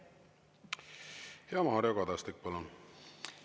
Mario Kadastik, palun!